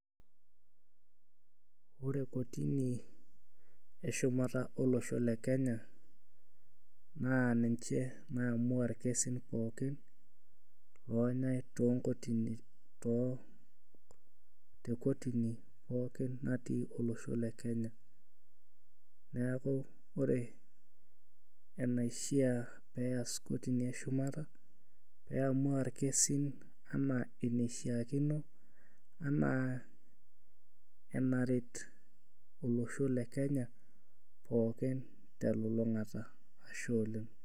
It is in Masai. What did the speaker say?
Ore kotini eshumata olosho le kenya naa ninche naiamua irkesin pookin lonyae tonkotini too tekotini pookin natii olosho le kenya niaku ore enaishia peyas kotini eshumata peyamua irkesin enaa eneishiakino anaa enaret olosho le kenya pookin telulung'ata ashe oleng.